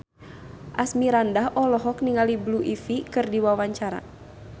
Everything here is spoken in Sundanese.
Asmirandah olohok ningali Blue Ivy keur diwawancara